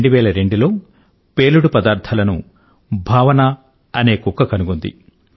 2002 లో పేలుడు పదార్థాలను భావన అనే కుక్క కనుగొన్నది